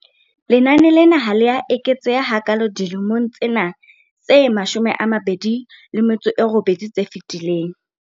Lenane lena ha le a eketseha hakaalo dilemong tsena tse 28 tse fetileng.